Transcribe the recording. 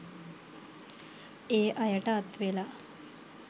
ඒ අයට අත් වෙලා.